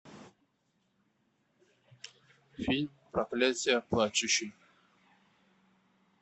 фильм проклятие плачущей